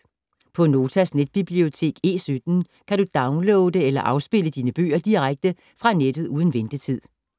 På Notas netbibliotek E17 kan du downloade eller afspille dine bøger direkte fra nettet uden ventetid.